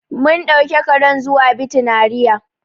Mun ɗauki karen zuwa bitinariya.